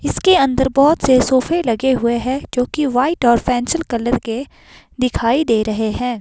इसके अंदर बहुत से सोफे लगे हुए हैं जो कि वाइट और पेंसिल कलर के दिखाई दे रहे हैं।